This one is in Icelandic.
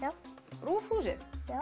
RÚV húsið já